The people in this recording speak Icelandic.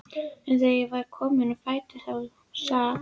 En þegar ég var komin á fætur þá sat